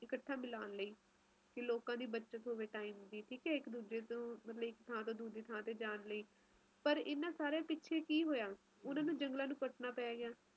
ਇਕੱਠਾ ਬੱਲਾਂਨ ਲਈ ਲੋਕਾਂ ਦੀ ਬਚਤ ਹੋਵੇ time ਦੀ ਮਤਲਬ ਇਕ ਥਾਂ ਤੋਂ ਦੂਜੀ ਥਾਂ ਜਾਣ ਲਈ ਪਾਰ ਇਹਨਾਂ ਸਾਰਿਆਂ ਪਿੱਛੇ ਕੀ ਹੋਇਆ ਓਹਨਾ ਨੂੰ ਜੰਗਲਾਂ ਨੂੰ ਕੱਟਣਾ ਪੈਗਿਆ